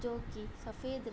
जोकि सफ़ेद --